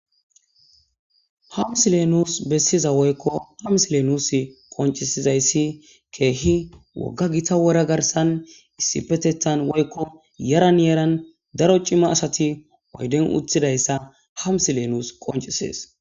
ha misilee nus bessiza woykko hams lenusi qoncisizayssi keehi wogga gita wora garsan issipetetan woykko yaran yaran daro cima asati oyden uthidayssa hamsi leenus qoncisees